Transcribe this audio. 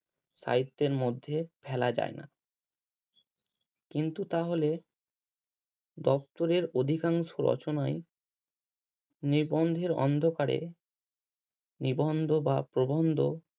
সাহিত্যের মধ্যে ফেলা যায় না কিন্তু তাহলে দপ্তরের অধিকাংশ রচনাই নিবন্ধের অন্ধকারে নিবন্ধ বা প্রবন্ধ